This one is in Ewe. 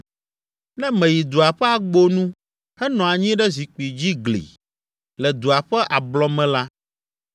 “Ne meyi dua ƒe agbo nu, henɔ anyi ɖe zikpui dzi gli, le dua ƒe ablɔme la,